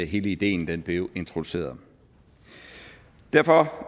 hele ideen blev introduceret derfor